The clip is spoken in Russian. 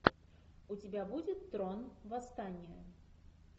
у тебя будет трон восстание